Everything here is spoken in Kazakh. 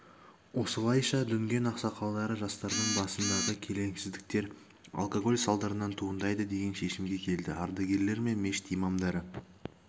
осылайша дүнген ақсақалдары жастардың басындағы келеңсіздіктер алкоголь салдарынан туындайды деген шешімге келді ардагерлер мен мешіт имамдары